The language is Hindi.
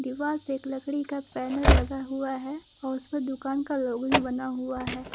दीवाल पे एक लकड़ी का बैनर लगा हुआ है और उसमें दुकान का लोगो भी बना हुआ है।